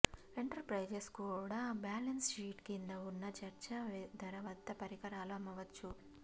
enterprises కూడా balance sheet క్రింద ఉన్న చర్చా ధర వద్ద పరికరాలు అమ్మవచ్చు